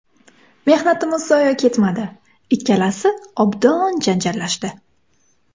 Mehnatim zoye ketmadi, ikkalasi obdon janjallashdi.